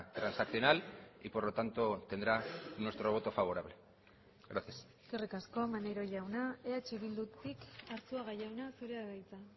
transaccional y por lo tanto tendrá nuestro voto favorable gracias eskerrik asko maneiro jauna eh bildutik arzuaga jauna zurea da hitza